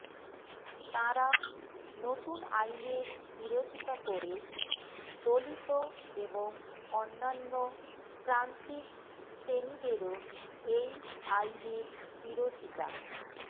তাঁরা নতুন আইনের বিরোধিতা করে দলিত এবং অন্যান্য প্রান্তিক শ্রেণীদেরও এই আইনের বিরোধিতা